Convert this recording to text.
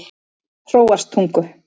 Hróarstungu